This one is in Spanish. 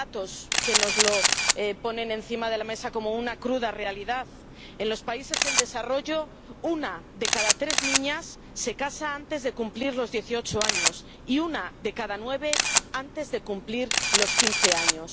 Hay datos que nos ponen encima de la mesa como una cruda realidad en los países en desarrollo, una de cada tres niñas se casa antes de cumplir los dieciocho años y una de cada nueve antes de cumplir los quince años.